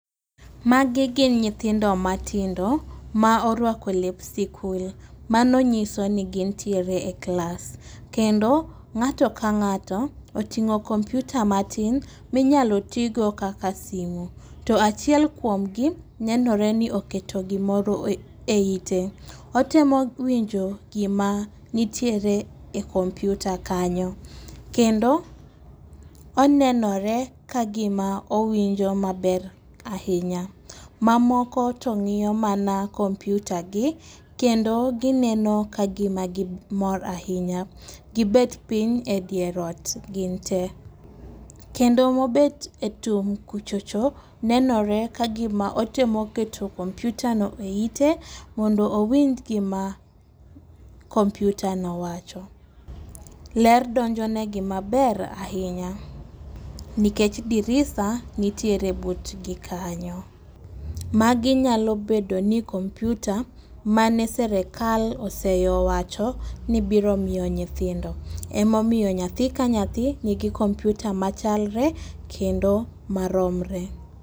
Magi gin nyithindo matindo ma orwako lep sikul. Mano nyiso ni gintiere e klas kendo ng'ato ka ng'ato oting'o komputa matin minyalo tigo kaka simu . To achiel kuomgi nenore ni oketo gimoro e eite otemo winjo gima nitiere e komputa kanyo. Kendo onenore ka gima owinjo maber ahinya. Mamoko to ng'iyo mana komputa gi kendo gineno ka gima gimor ahinya . Gibet piny e dier ot gin tee kendo mobet e tung' kucho cho nenore ka gima otemo keto komputa no e ite mondo winj gima komputa no wacho. Ler donjonegi maber ahinya nikech dirisa nitiere butgi kanyo .Magi nyalo bedo ni komputa mane sirikal oseyo wacho ni biro miyo nyithindo, emomiyo nyathi ka nyathi nigi komputa machalre kendo maromre.